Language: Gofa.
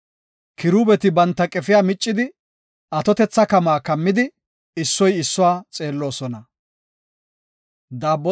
Kiruubeti banta qefiya miccidi, atotetha kamuwa kammidi, issoy issuwa xeelloosona.